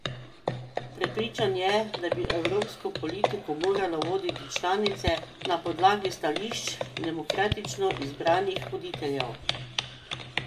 Prepričan je, da bi evropsko politiko morale voditi članice na podlagi stališč demokratično izbranih voditeljev.